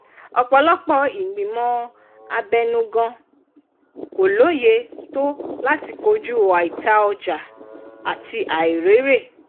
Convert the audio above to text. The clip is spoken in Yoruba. ọ̀pọ̀lọpọ̀ ìgbìmọ̀ abẹnugan kò lóye tó láti kojú àìta-ọjà àti àìrèrè.